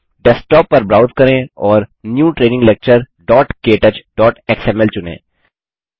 desktop पर browse करें और न्यू ट्रेनिंग lecturektouchएक्सएमएल चुनें